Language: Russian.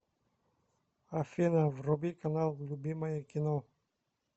афина вруби канал любимое кино